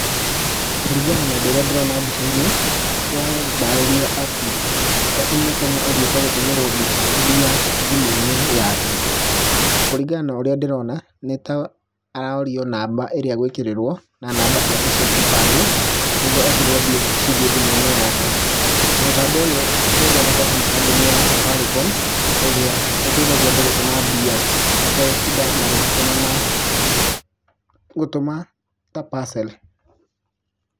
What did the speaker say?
Kũringana na ũndũ ũria ndĩrona mbicaini, ũrandarĩria atĩ nĩ mũkenya uthiĩte gũtũmerwo mbia thimũ-inĩ yake. Kũringana na ũrĩa ndĩrona nĩ ta arorio namba ĩrĩa egwikĩrĩrwo na namba ciake cia kibandĩ, nĩguo ekĩrĩrwo mbeca ici cithiĩ thimũ-inĩ yake. Mũtambo ũyũ ũthondeketwo nĩ kambuni ya Safaricom ĩrĩa ĩteithagia andũ gũtũma mbia mategũtinda magĩcituma na gũtũma ta parcel.